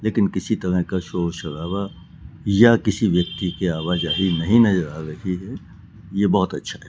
लेकिन किसी तरह का शोर शराबा या किसी व्यक्ति की आवा जाहि नहीं नजर आ रही है यह बहोत अच्छा है।